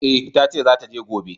E, ta ce za ta je gobe.